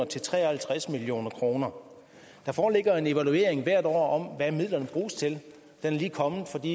til tre og halvtreds million kroner der foreligger en evaluering hvert år om hvad midlerne bruges til den er lige kommet for de